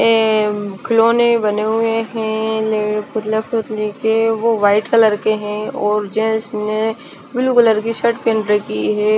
ये खिलौने बने हुए है वो व्हाइट कलर के और जेंट्स ने ब्लू कलर की शर्ट पहन रखी है।